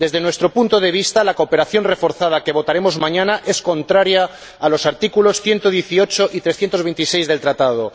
Desde nuestro punto de vista, la cooperación reforzada, que votaremos mañana, es contraria a los artículos 118 y 326 del Tratado.